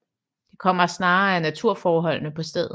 Det kommer snarere af naturforholdene på stedet